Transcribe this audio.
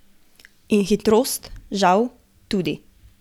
In hitrost, žal, tudi.